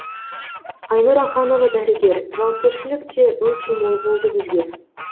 айнұр аханова дәрігер жауапкершілік те өте мол болды бізге